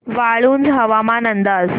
वाळूंज हवामान अंदाज